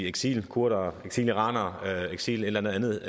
eksilkurder eksiliraner eksil et eller andet